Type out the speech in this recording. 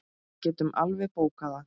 Við getum alveg bókað það.